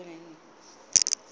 rolivhuwan